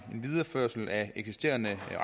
videreførelse af eksisterende